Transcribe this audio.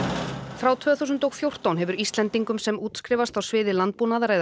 frá tvö þúsund og fjórtán hefur Íslendingum sem útskrifast á sviði landbúnaðar eða